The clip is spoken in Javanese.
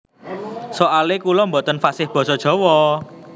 Soale kula boten fasih basa jawa